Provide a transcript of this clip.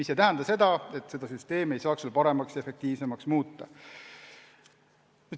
See aga ei tähenda, et süsteemi ei saaks veel paremaks ja efektiivsemaks muuta.